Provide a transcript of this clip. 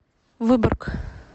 выборг